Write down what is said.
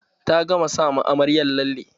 Ta gama sa ma amaryar lalle.